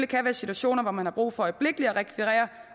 kan være situationer hvor man har brug for øjeblikkelig at rekvirere